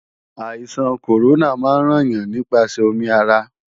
Àìsàn kòrónà máa ń ràn yàn nípasẹ̀ omi ara